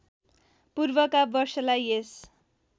पूर्वका वर्षलाई यस